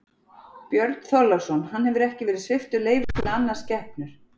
Björn Þorláksson: Hann hefur ekki verið sviptur leyfi til að annast skepnur?